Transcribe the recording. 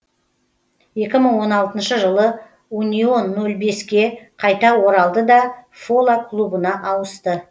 екі мың он алтыншы жылы унион нөл беске қайта оралды да фола клубына ауысты